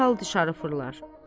Dərhal dışarı fırlar.